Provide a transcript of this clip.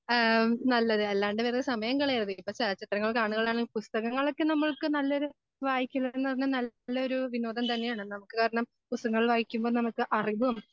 ആ നല്ലത് അല്ലാണ്ട് വെറുതെ സമയം കളയരുത് ഇപ്പോ ചലച്ചിത്രങ്ങൾ കാണുകയാണെങ്കിൽ പുസ്തകങ്ങളൊക്കെ നമ്മൾക്ക് നല്ലൊരു വായിക്കുന്നത് നല്ലൊരു വിനോദം തന്നെയാണ്. നമുക്ക് കാരണം പുസ്തകങ്ങൾ വായിക്കുമ്പോ നമുക്ക് അറിവും